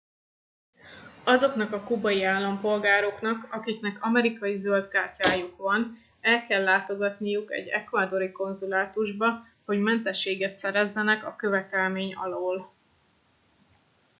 azoknak a kubai állampolgároknak akiknek amerikai zöld kártyájuk van el kell látogatniuk egy ecuadori konzulátusba hogy mentességet szerezzenek e követelmény alól